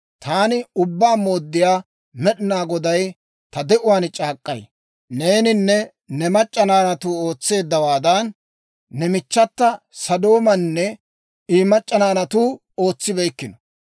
«‹ «Taani Ubbaa Mooddiyaa Med'inaa Goday ta de'uwaan c'aak'k'ay: Neeninne ne mac'c'a naanatuu ootseeddawaadan, ne michchata Sodoomaanne I mac'c'a naanatuu ootsibeykkino.